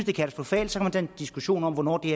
er katastrofalt så kan diskussion om hvornår det